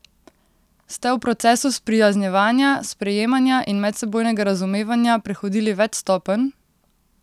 Ste v procesu sprijaznjevanja, sprejemanja in medsebojnega razumevanja prehodili več stopenj?